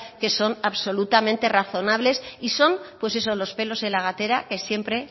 que son absolutamente razonables y son pues eso los pelos en la gatera que hay siempre